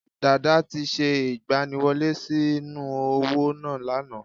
Dàdá ti se ìgbaniwọlé sí nú òwò náà lánàá